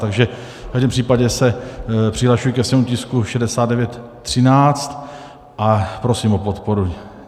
Takže v každém případě se přihlašuji ke svému tisku 6913 a prosím o podporu.